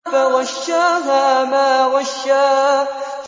فَغَشَّاهَا مَا غَشَّىٰ